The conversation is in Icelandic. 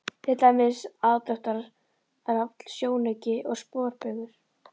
Til dæmis: aðdráttarafl, sjónauki og sporbaugur.